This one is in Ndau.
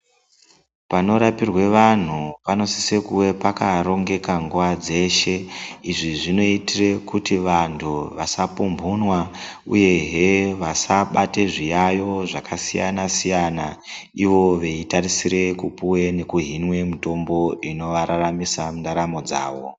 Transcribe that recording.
Panorapirwe antu panosise kuve pakarongeka nguva dzeshe. Izvi zvinotire kuti vantu vasapumbunwa, uyehe vasabate zviyayo zvakasiyana-siyana. Ivo veitarisire kupuve nekuhinwe mitombo inovararamisa mundaramo dzavo.